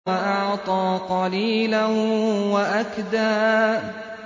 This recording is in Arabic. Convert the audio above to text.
وَأَعْطَىٰ قَلِيلًا وَأَكْدَىٰ